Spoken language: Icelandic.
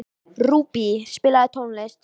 Rúbý, spilaðu tónlist.